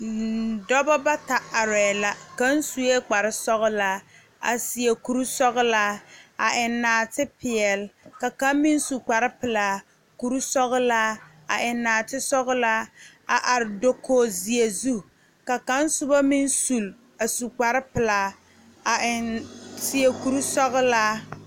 Nn dɔbɔ bata arɛɛ la ka kaŋ suee kparesɔglaa a seɛ kurisɔglaa a eŋ naate peɛle ka kaŋ meŋ su kparepelaa kurisɔglaa a eŋ naate sɔglaa a are dokoge zeɛ zu ka kaŋ sobɔ meŋ sule a su kparepelaa a eŋ seɛ kurisɔglaa.